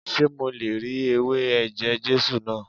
Ṣé mo le ri ewé ẹ̀jẹ̀ Jésù náà?